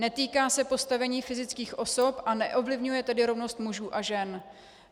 Netýká se postavení fyzických osob a neovlivňuje tedy rovnost mužů a žen.